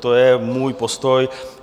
To je můj postoj.